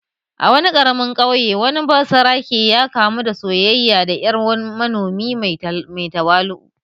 A wani ƙaramin ƙauye, wani basarake ya kamu da soyayya da ‘yar manomi mai tawali’u.